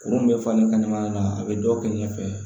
Kurun bɛ falen kɛnɛma yan a bɛ dɔ kɛ ɲɛfɛ